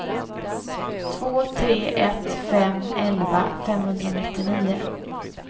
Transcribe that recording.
två tre ett fem elva femhundranittionio